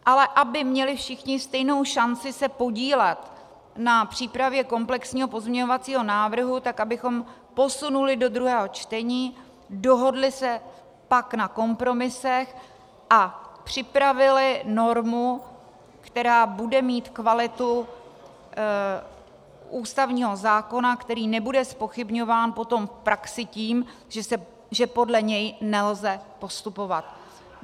Ale aby měli všichni stejnou šanci se podílet na přípravě komplexního pozměňovacího návrhu, tak abychom posunuli do druhého čtení, dohodli se pak na kompromisech a připravili normu, která bude mít kvalitu ústavního zákona, který nebude zpochybňován potom v praxi tím, že podle něj nelze postupovat.